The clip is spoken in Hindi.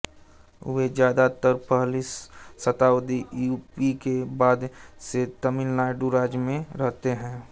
वे ज्यादातर पहली शताब्दी ई पू के बाद से तमिलनाडु राज्य में रहते हैं